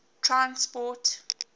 transport